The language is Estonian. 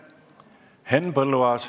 Henn Põlluaas.